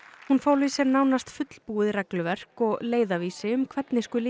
hún fól í sér nánast fullbúið regluverk og leiðarvísi um hvernig skuli